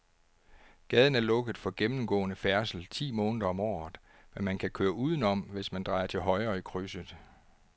Gaden er lukket for gennemgående færdsel ti måneder om året, men man kan køre udenom, hvis man drejer til højre i krydset.